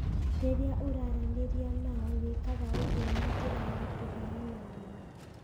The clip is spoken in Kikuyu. Rĩrĩa ũraranĩria nao wĩkaga ũguo na njĩra ya kũheana ũma.